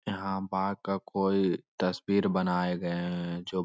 यहां बाघ का कोई तस्वीर बनाए गए है जो --